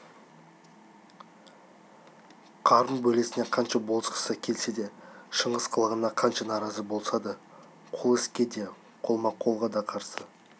қарын бөлесіне қанша болысқысы келсе де шыңғыс қылығына қанша наразы болса да қол іске де қолма-қолға да қарсы